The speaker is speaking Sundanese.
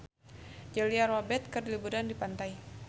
Julia Robert keur liburan di pantai